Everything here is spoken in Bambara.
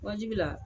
Wajibiya